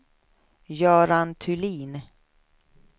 Göran Thulin